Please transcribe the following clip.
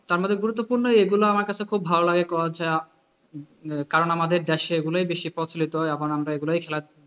তার মধ্যে খুব গুরুত্বপূর্ণ এগুলো আমার কাছে খুব ভালো লাগে কারণ ছাড়া কারণ আমাদের এগুলেই দেশে বেশি প্রচলিত এখন আমরা এগুলাই খেলা,